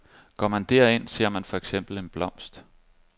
Går man derind, ser man for eksempel en blomst.